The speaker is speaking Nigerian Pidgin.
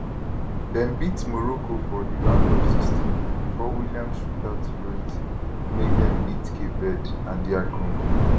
dem beat morocco for di round of 16 before williams shootout heroics make dem baet cape verde and dr congo